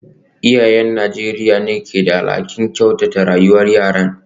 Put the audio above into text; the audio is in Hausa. Iyayen Najeriya ne ke da alhakin kyautata rayuwar yaran.